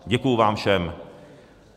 Děkuji vám všem.